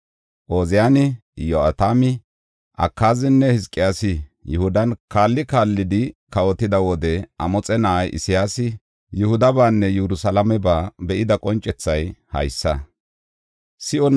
Ooziyani, Iyo7atami, Akaazinne Hizqiyaasi Yihudan kaalli kaallidi kawotida wode Amoxe na7ay Isayaasi Yihudabaanne Yerusalaameba be7ida qoncethay haysa.